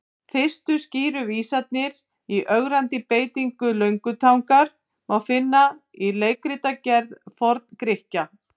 Fyrstu skýru vísanirnar í ögrandi beitingu löngutangar má finna í leikritagerð Forn-Grikkja.